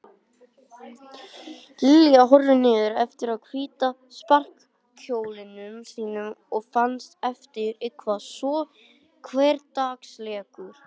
Lilla horfði niður eftir hvíta sparikjólnum sínum og fannst hann eitthvað svo hversdagslegur.